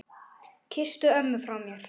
Kysstu ömmu frá mér.